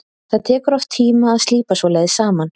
Það tekur oft tíma að slípa svoleiðis saman.